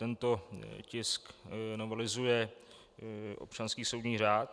Tento tisk novelizuje občanský soudní řád.